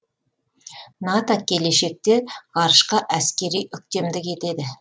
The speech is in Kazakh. нато келешекте ғарышқа әскери үктемдік етеді